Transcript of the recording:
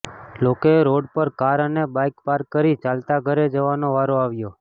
લોકોએ રોડ પર કાર અને બાઇક પાર્ક કરી ચાલતા ઘરે જવાનો વારો આવ્યો